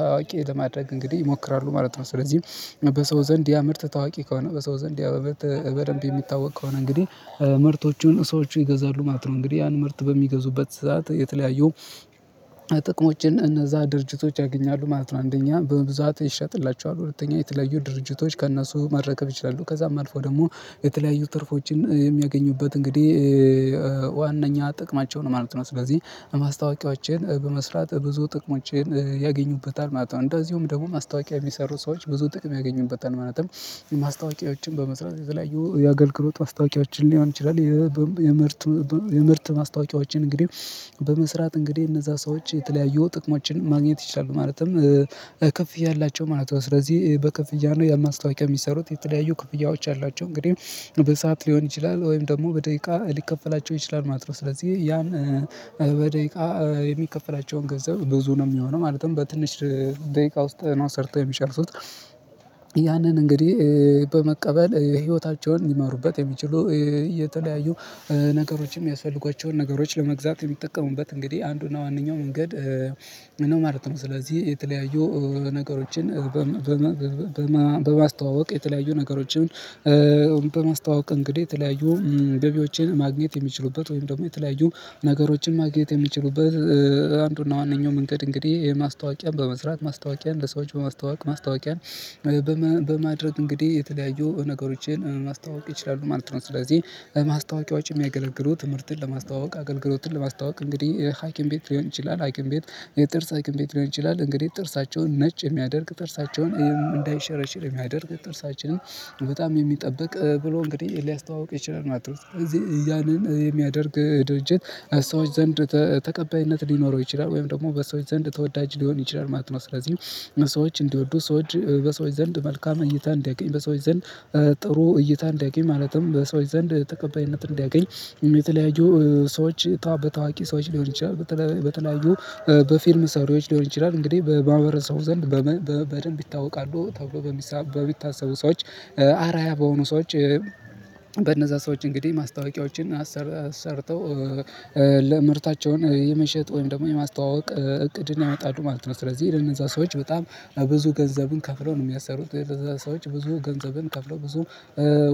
ታዋቂ ለማድረግ እንግዲህ ይሞክራሉ ማለት ነው። ስለዚህም በሰው ዘንድ ያ ምርት ታዋቂ ከሆነ በሰው ዘንድ ያ ምርት በደንብ የሚታወቅ ከሆነ እንግዲህ ምርቶቹን ሰዎች ይገዛሉ ማለት ነው። እንግዲህ ያን ምርት በሚገዙበት ሰዓት የተለያየው የተለያዩ ጥቅሞችን እነዛ ድርጅቶች ያገኛሉ ማለት ነው። አንደኛ በብዛት ይሸጥላቸዋል፤ ሁለተኛ የተለዩ ድርጅቶች ከእነሱ መረከብ ይችላሉ። ከዛም አልፎ ደግሞ የተለያዩ ትርፎችን የሚያገኙበት እንግዲህ ዋናኛ ጥቅማቸው ነው ማለት ነው። ስለዚህ ማስታወቂያችን በመስራት ብዙ ጥቅሞችን ያገኙበታል ማለት ነው። እንደዚሁም ደግሞ ማስታወቂያ የሚሰሩ ሰዎች ብዙ ጥቅም ያገኙበታል። ማለትም ማስታወቂያዎችን በመስራት የተለያዩ የአገልግሎት ማስታወቂያችን ሊሆን ይችላል የምርት የምርት ማስታወቂያዎችን እንግዲህ በመስራት እንግዲህ እነዛ ሰዎች የተለያየው ጥቅማችንን ማግኘት ይችላሉ። ማለትም ከፍያ አላቸው ማለት ነው። ስለዚህ በክፍያ ነው ያማስታወቂያ የሚሰሩት። የተለያዩ ክፍያዎች አሏቸው። እንግዲህ በሰአት ሊሆን ይችላል ወይም ደግሞ በደቂቃ ሊከፈላቸው ይችላል ማለት ነው። ስለዚህ ያን በደቂቃ የሚከፈላቸውን ገንዘብ ብዙ ነው የሚሆነው። ማለትም በትንሽ ደቂቃ ውስጥ ነው ሰርተው የሚጨርሱት ያንን እንግዲህ በመቀበል ህይወታቸውን ሊማሩበት የሚችሉ እየተለያዩ ነገሮችም ያስፈልጓቸውን ነገሮች ለመግዛት የሚጠቀሙበት እንግዲህ አንዱና ዋናው መንገድ ነው ማለት ነው። ስለዚህ የተለያዩ ነገሮችን በማስተዋወቅ የተለያዩ ነገሮችን በማስተዋወቅ እንግዲህ የተለያዩ ገቢዎችን ማግኘት የሚችሉበት ወይም ደግሞ የተለያዩ ነገሮችን ማግኘት የሚችሉበት አንዱና ዋናኛው መንገድ እንግዲህ የማስታወቂያ በመስራት ማስታወቂያ ለሰዎች በማስተዋወቅ ማስታወቂያን በማድረግ እንግዲህ የተለያዩ ነገሮችን ማስታወቅ ይችላሉ ማለት ነው። ስለዚህ ማስታወቂያዎችን የሚያገለግሉ ምርትን ለማስተዋወቅ አገልግሎትን ለማስተዋወቅ እንግዲህ ሃኪም ቤት ሊሆን ይችላል፤ ሃኪም ቤት የጥርስ ሃኪም ቤት ሊሆን ይችላል። እንግዲህ ጥርሳቸውን ነጭ የሚያደርግ ጥርሳቸውን እንዳይሸረሽር የሚያደርግ ጥርሳችንን በጣም የሚጠብቅ ብሎ እንግዲህ ሊያስተዋውቅ ይችላል ማለት ነው። ስለዚህ ያንን የሚያደርግ ድርጅት ሰዎች ዘንድ ተቀባይነት ሊኖረው ይችላል፤ ወይም ደግሞ በሰዎች ዘንድ ተወዳጅ ሊሆን ይችላል ማለት ነው። ስለዚህ ሰዎች እንዲወዱ ሰዎች በሰዎች ዘንድ መልካም እኝታ እንዲያገኝ በሰዎች ዘንድ ጥሩ እይታ እንዲያገኝ ማለትም በሰዎች ዘንድ ተቀባይነት እንዲያገኝ የተለያዩ ሰዎች በታዋቂ ሰዎች ሊሆን ይችላል በተለያዩ በፊርም ሰራዮች ሊሆን ይችላል እንግዲህ በማህበረሰቡ ዘንድ በደንብ ይታወቃሉ ተብሎ በሚታሰቡ ሰዎች አራዓያ በሆኑ ሰዎች በነዛ ሰዎች እንግዲህ ማስታወቂያዎችን ሰርተው ለምርታቸውን የመሸጥ ወይም ደግሞ የማስተዋወቅ እቅድን ያወጣሉ ማለት ነው። ስለዚህ ለነዛ ሰዎች በጣም ብዙ ገንዘብን ከፍለው ነው የሚያሰሩት። ለነዛ ሰዎች ብዙ ገንዘብን ከፍለው ብዙ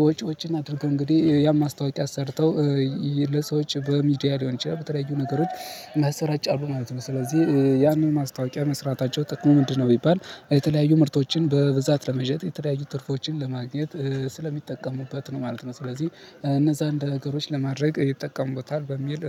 ወጪዎችን አድርገው እንግዲህ ያን ማስታወቂያ አሰርተው ለሰዎች በሚዲያ ሊሆን ይችላል በተለያዩ ነገሮች ያስራጫሉ ማለት ነው። ስለዚህ ያንን ማስታወቂያ መስራታቸው ጥቅሙ ምንድነው? ቢባል የተለያዩ ምርቶችን በብዛት ለመሸጥ የተለያዩ ትርፎችን ለማግኘት ስለሚጠቀሙበት ነው ማለት ነው። ስለዚህ እነዛ እንደ ነገሮች ለማድረግ ይጠቀሙታል በሚል